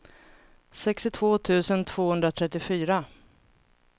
sextiotvå tusen tvåhundratrettiofyra